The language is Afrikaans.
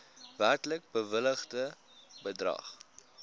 werklik bewilligde bedrag